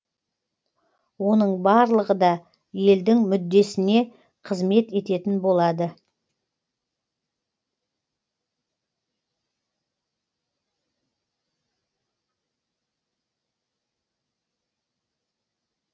оның барлығы да елдің мүддесіне қызмет ететін болады